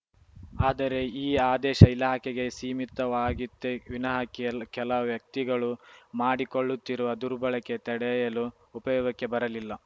ಆದರೆ ಈ ಆದೇಶ ಇಲಾಖೆಗೆ ಸೀಮಿತವಾಗಿತ್ತೇ ವಿನಃ ಕೆಲ್ ಕೆಲ ವ್ಯಕ್ತಿಗಳು ಮಾಡಿಕೊಳ್ಳುತ್ತಿರುವ ದುರ್ಬಳಕೆ ತಡೆಯಲು ಉಪಯೋಗಕ್ಕೆ ಬರಲಿಲ್ಲ